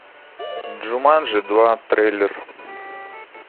джуманджи два трейлер